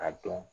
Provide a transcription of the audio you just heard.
A dɔn